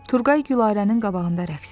Turqay Gülarənin qabağında rəqs etdi.